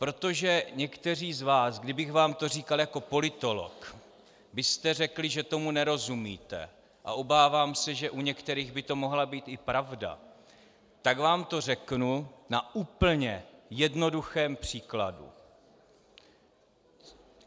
Protože někteří z vás, kdybych vám to říkal jako politolog, byste řekli, že tomu nerozumíte, a obávám se, že u některých by to mohla být i pravda, tak vám to řeknu na úplně jednoduchém příkladu.